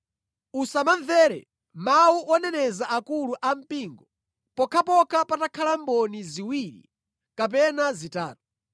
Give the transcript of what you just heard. Usamamvere mawu oneneza akulu ampingo pokhapokha patakhala mboni ziwiri kapena zitatu.